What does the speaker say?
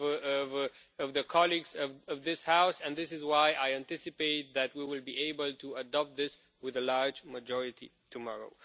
of the colleagues in this House and that is why I anticipate that we will be able to adopt this with a large majority tomorrow.